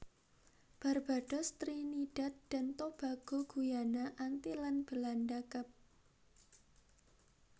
Barbados Trinidad dan Tobago Guyana Antillen Belanda Kep